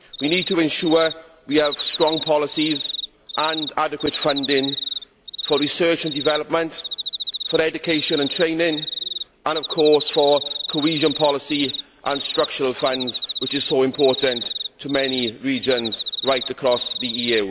We need to ensure we have strong policies and adequate funding for research and development, for education and training and, of course, for cohesion policy and structural funds, which is so important to many regions right across the EU.